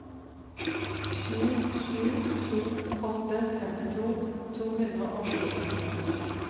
sju sju to åtte femtito to hundre og fire